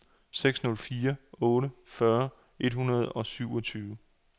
seks nul fire otte fyrre et hundrede og syvogtyve